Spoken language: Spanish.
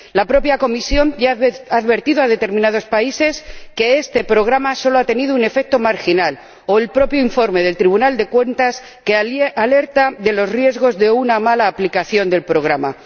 La propia Comisión ya ha advertido a determinados países que este programa solo ha tenido un efecto marginal y el propio informe del Tribunal de Cuentas alerta de los riesgos de una mala aplicación del programa.